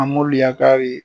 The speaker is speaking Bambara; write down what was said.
An m'olu yakari